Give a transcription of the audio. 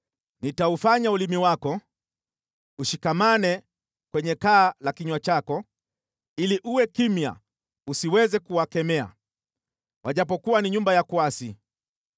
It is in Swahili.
Nitaufanya ulimi wako ushikamane kwenye kaa la kinywa chako, ili uwe kimya usiweze kuwakemea, wajapokuwa ni nyumba ya kuasi.